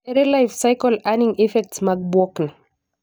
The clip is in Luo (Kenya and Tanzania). Ere life-cycle earning effects mag bwok ni?